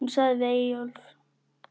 Hún sagði við Eyjólf